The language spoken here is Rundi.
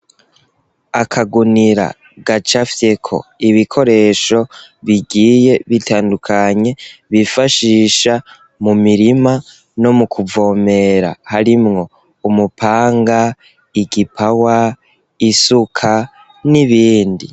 Akagunira gacafyeko ibikoresho bigiye bitandukanye bifashisha mu mirima no mu kuvomera harimwo umupanga igipawa isuka n'ibindi...